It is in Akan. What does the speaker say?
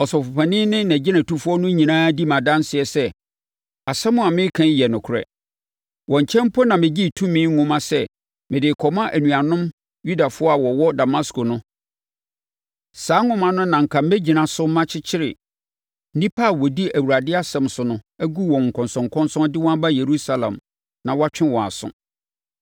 Ɔsɔfopanin ne agyinatufoɔ no nyinaa di me adanseɛ sɛ, asɛm a mereka yi yɛ nokorɛ. Wɔn nkyɛn mpo na megyee tumi nwoma sɛ mede rekɔma anuanom Yudafoɔ a wɔwɔ Damasko no. Saa nwoma no na anka mɛgyina so makyekyere nnipa a wɔdi Awurade asɛm so no agu wɔn nkɔnsɔnkɔnsɔn, de wɔn aba Yerusalem na wɔatwe wɔn aso.